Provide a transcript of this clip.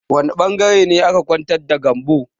Wani ɓangaren ne aka ƙwantar da Gambo?